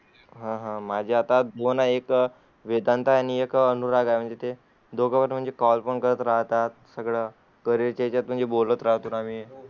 होय, होय, माझ्याकडे आता दोन आ एक वेदांत आणि एक अनुराग आहे म्हणून ते दोघे call पॅन करत राहतात. त्याच्या घरातील सर्वच या नावाबद्दल बोलत आहेत.